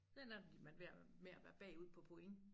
Ender de man med at med at være bagud på point